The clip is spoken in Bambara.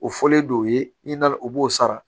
O fɔlen do i nana u b'o sara